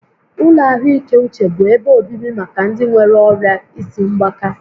Ụlọ ahụike uche bụ ebe obibi maka ndị nwéré ọrịa isi mgbaka